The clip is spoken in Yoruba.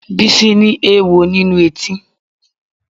Bísí ni oówo nínú etí